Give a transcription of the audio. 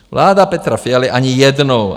Vláda Petra Fialy ani jednou.